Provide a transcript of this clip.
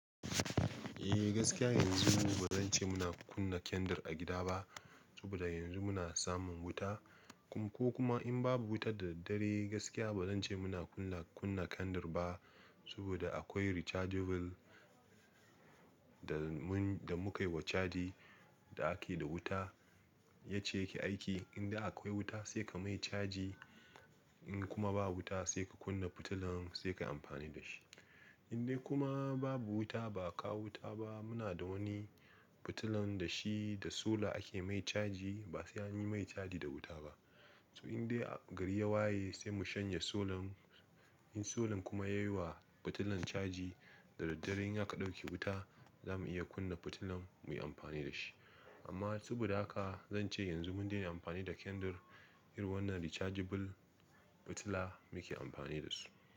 Eh gaskiya yanzu ba zan ce muna kunna kyandir a gida ba, saboda yanzu muna samun wuta. Ko kuma in babu wuta da daddare gaskiya ba zan ce muna kunna, kunna kandir ba saboda akwai rechargeable da mu, da muka yi wa caji da ake da wuta, ya ce ya ke aiki. Inda akwai wuta sai ka mai caji, in kuma babu wuta sai ka kunna fitilan sai ka yi amfani da shi. Indai kuma babu wuta ba a kawo wuta ba muna da wani fitilan da shi da sola ake mai caji, ba sai anyi mai caji da wuta ba. To indai gari ya waye sai mu shanye solan, in solan kuma ya yi wa fitilan caji, da daddare in aka ɗauke wuta zamu iya kunna fitilar muyi amfani da shi. Amma saboda haka zan ce yanzu mun daina amfani da kyandir, irin wannan rechargeable fitila muke amfani da su.